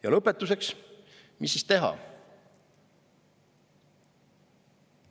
Ja lõpetuseks, mis siis teha?